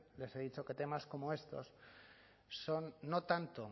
les he dicho que temas como estos son no tanto